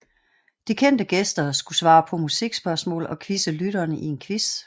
De kendte gæster skulle svare på musikspørgsmål og quizze lytterne i en quiz